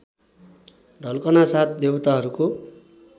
ढल्कनासाथ देवताहरूको